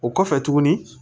O kɔfɛ tuguni